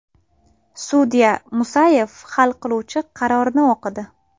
Sudya D. Musayev hal qiluvchi qarorni o‘qidi.